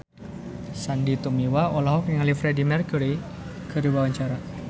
Sandy Tumiwa olohok ningali Freedie Mercury keur diwawancara